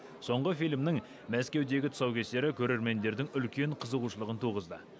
соңғы фильмнің мәскеудегі тұсаукесері көрермендердің үлкен қызығушылығын туғызды